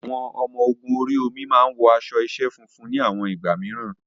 Àwọn ọmọ ogun orí omi máa wọ aṣọ iṣẹ́ funfun ní àwọn ìgbà mìíràn.